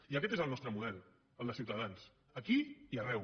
i aquest és el nostre model el de ciutadans aquí i arreu